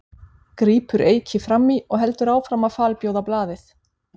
grípur Eiki fram í og heldur áfram að falbjóða blaðið.